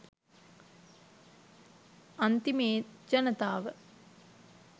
අන්තිමේ ජනතාව